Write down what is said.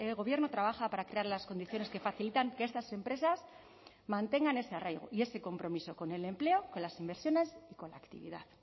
gobierno trabaja para crear las condiciones que facilitan que estas empresas mantengan ese arraigo y ese compromiso con el empleo con las inversiones y con la actividad